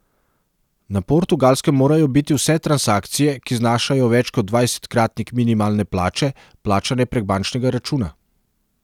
Na Portugalskem morajo biti vse transakcije, ki znašajo več kot dvajsetkratnik minimalne plače, plačane prek bančnega računa.